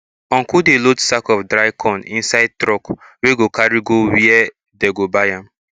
uncle dey load sack of dry corn inside truck wey go carry go where dey go buy am